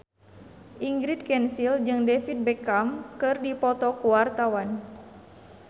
Ingrid Kansil jeung David Beckham keur dipoto ku wartawan